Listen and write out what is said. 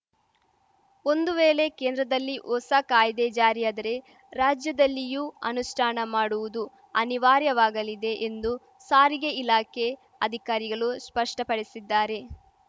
ಒಂದು ವೇಲೆ ಕೇಂದ್ರದಲ್ಲಿ ಹೊಸ ಕಾಯ್ದೆ ಜಾರಿಯಾದರೆ ರಾಜ್ಯದಲ್ಲಿಯೂ ಅನುಷ್ಠಾನ ಮಾಡುವುದು ಅನಿವಾರ್ಯವಾಗಲಿದೆ ಎಂದು ಸಾರಿಗೆ ಇಲಾಖೆ ಅಧಿಕಾರಿಗಲು ಸ್ಪಷ್ಟಪಡಿಸಿದ್ದಾರೆ